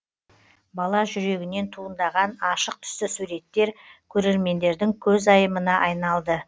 бала жүрегінен туындаған ашық түсті суреттер көрермендердің көзайымына айналды